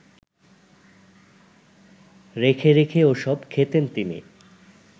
রেখে রেখে ওসব খেতেন তিনি